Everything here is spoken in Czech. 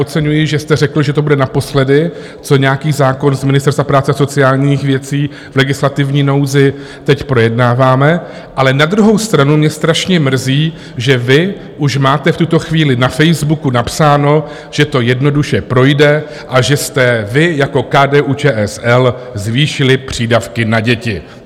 Oceňuji, že jste řekl, že to bude naposledy, co nějaký zákon z Ministerstva práce a sociálních věcí v legislativní nouzi teď projednáváme, ale na druhou stranu mě strašně mrzí, že vy už máte v tuto chvíli na Facebooku napsáno, že to jednoduše projde a že jste vy jako KDU-ČSL zvýšili přídavky na děti.